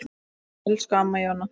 Elsku Amma Jóna.